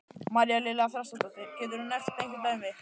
María Lilja Þrastardóttir: Getur þú nefnt einhver dæmi?